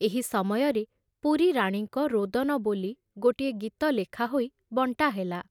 ଏହି ସମୟରେ ‘ ପୁରୀ ରାଣୀଙ୍କ ରୋଦନ ’ ବୋଲି ଗୋଟିଏ ଗୀତ ଲେଖା ହୋଇ ବଣ୍ଟାହେଲା।